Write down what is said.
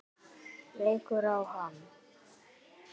Leikur á hana.